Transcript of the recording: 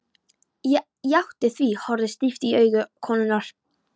Ég játti því, horfði stíft í augu konunnar.